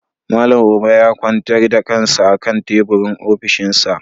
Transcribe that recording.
Malam Uba ya kwantar da kansa a kan teburin ofishinsa.